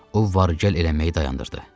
O var gəl eləməyi dayandırdı.